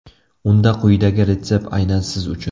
Unda quyidagi retsept aynan siz uchun!